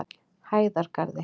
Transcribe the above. Hæðargarði